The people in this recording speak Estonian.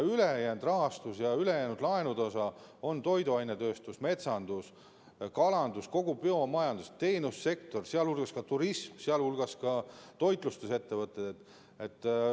Ülejäänud rahastus ja laenude osa on toiduainetööstus, metsandus, kalandus, kogu biomajandus, teenussektor, sh turism ja toitlustusettevõtted.